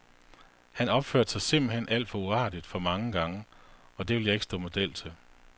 Han opførte sig simpelthen alt for uartigt for mange gange, og det ville jeg ikke stå model til.